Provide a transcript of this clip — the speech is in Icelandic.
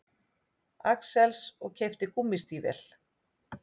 Axels og keypti gúmmístígvél.